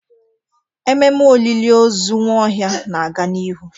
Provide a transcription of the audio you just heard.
Ememe olili ozu Nwaohia na-aga n'ihu.